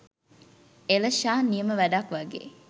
එළෂා නියම වැඩක් වගේ!